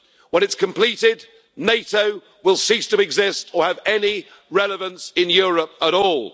When it's completed, NATO will cease to exist or have any relevance in Europe at all.